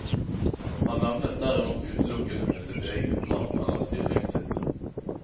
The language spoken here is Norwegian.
Han nevnes derimot utelukkende med sitt eget navn eller stillingstittel.